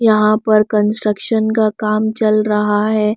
यहाँ पर कंस्ट्रक्शन का काम चल रहा है।